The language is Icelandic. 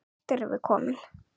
Hvert erum við komin?